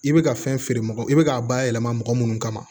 I bɛ ka fɛn feere mɔgɔ i bɛ k'a bayɛlɛma mɔgɔ minnu kama